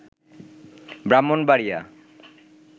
Brahmanbaria